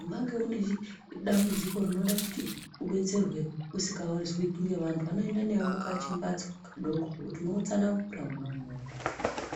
Unenge une dambudziko rekuti udetserwe usingazwi vantu vanoenda newe mukachi mbatso kadoko kuti unono tsanangura mwona umwomwo.